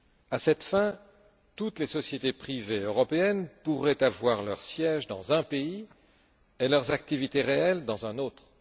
À cette fin, toutes les sociétés privées européennes pourraient avoir leur siège dans un pays et leurs activités réelles dans un autre.